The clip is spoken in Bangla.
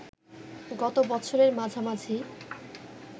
গত বছরের মাঝামাঝি